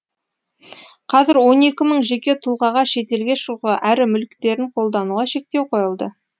қазір он екі мың жеке тұлғаға шетелге шығуға әрі мүліктерін қолдануға шектеу қойылды